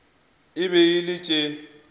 e be e le tše